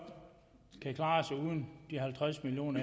kan klare sig uden de halvtreds million